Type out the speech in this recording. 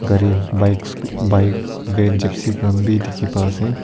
gari bikes bike van jeepsi khan bhi dikhi pa ase.